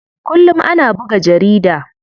Kullum ana buga jarida.